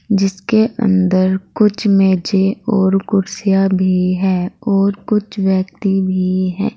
जिसके अंदर कुछ मेजे और कुर्सियां भी है और कुछ व्यक्ति भी हैं।